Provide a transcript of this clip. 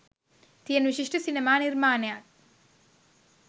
තියෙන විශිෂ්ට සිනමා නිර්මාණයක්